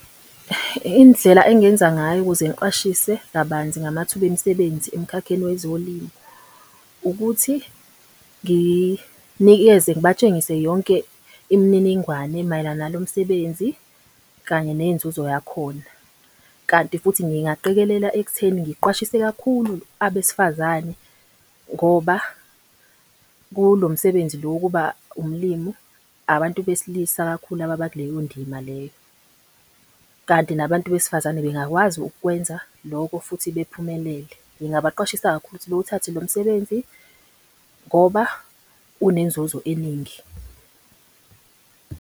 Indlela engingenza ngayo ukuze ngiqwashise kabanzi ngamathuba emisebenzi emkhakheni wezolimo. Ukuthi nginikeze ngibatshengise yonke imininingwane mayelana nalo msebenzi, kanye nenzuzo yakhona. Kanti futhi ngingaqikelela ekutheni ngiqwashise kakhulu abesifazane ngoba kulo msebenzi lo wokuba umlimu, abantu besilisa kakhulu ababa kuleyo ndima leyo. Kanti nabantu besifazane bengakwazi ukukwenza lokho futhi bephumelele. Ngingabaqwashisa kakhulu ukuthi bewuthathe lo msebenzi ngoba unenzuzo eningi.